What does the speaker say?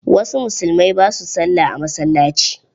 Wasu musulmai ba su Sallah a masalaci.